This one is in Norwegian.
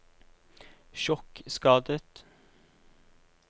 sjokkskadet